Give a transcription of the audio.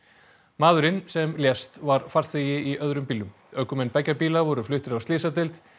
maðurinn sem lést var farþegi í öðrum bílnum ökumenn beggja bíla voru fluttir á slysadeild